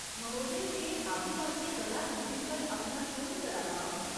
महोदय, में आदिबासी कला रूपें पर अपना शोध करा दा आं।